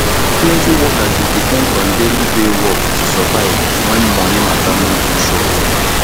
plenty workers dey depend on daily pay work to survive when moni matter no too sure